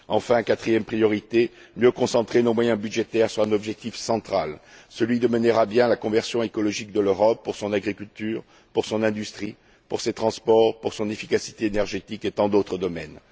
Enfin, quatrième priorité mieux concentrer nos moyens budgétaires sur un objectif central, celui de mener à bien la conversion écologique de l'Europe pour son agriculture, pour son industrie, pour ses transports, pour son efficacité énergétique, et tant d'autres domaines.